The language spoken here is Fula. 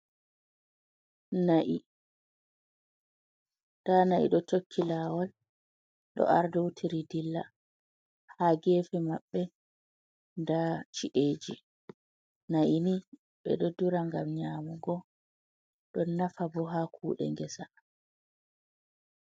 Na'i, nda na'i ɗo tokki lawol ɗo ardoutiri dilla, ha gefe maɓɓe nda ci’eji na'ini ɓeɗo dura ngam nyamugo ɗon nafa bo ha kude ngesa.